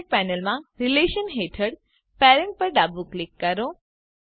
object પેનલમાં relations હેઠળ parent પર ડાબું ક્લિક કરો